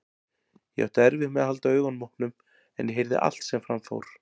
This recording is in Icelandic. Ég átti erfitt með að halda augunum opnum en ég heyrði allt sem fram fór.